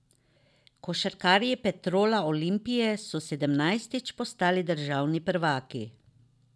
Košarkarji Petrola Olimpije so sedemnajstič postali državni prvaki.